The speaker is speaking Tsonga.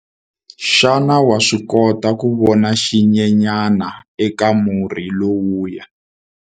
Xana wa swi kota ku vona xinyenyana eka murhi lowuya?